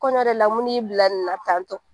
Kɔɲɔ yɛrɛ la mun de y'i bila nin na tan tɔ